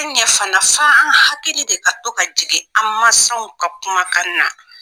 Tɛ ɲɛ fana f'an an hakili de ka to ka jigin an mansaw ka kumakan na